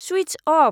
सुइत्च of